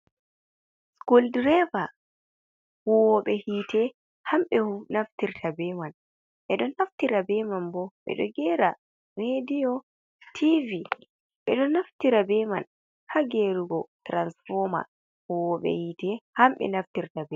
Sukul direva huwoɓe hite hamɓe naftirta be man. Ɓe ɗo naftira be man bo ɓe ɗo gera rediyo, tivi, ɓe ɗo naftira be man haa gerugo tiransfom. Huwoɓe hite hamɓe naftirta be.